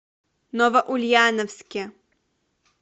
новоульяновске